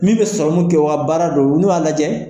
Min bɛ sɔrɔmu kɛ o ka baara don u n'u b'a lajɛ